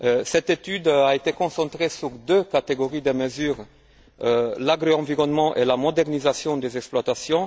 Cette étude a été concentrée sur deux catégories de mesures l'agroenvironnement et la modernisation des exploitations.